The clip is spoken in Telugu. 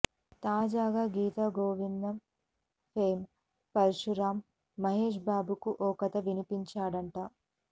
తాజాగా గీతగోవిందం ఫేమ్ పరశురామ్ మహేష్ బాబుకు ఓ కథ వినిపించాడట